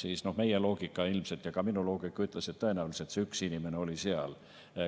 siis meie loogika ilmselt ja ka minu loogika ütles, et tõenäoliselt oli see üks inimene seal.